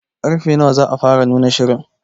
Karfe nawa za a fara nuna shirin?